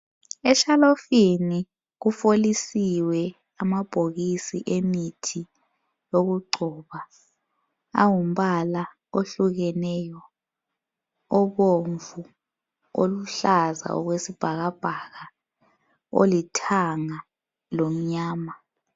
Eshelufini kufolisiwe amabhokisi emithi yokugcoba. Angumbala ohlukeneyo, obomvu, oluhlaza okwesibhakabhaka, olithanga lomnyama.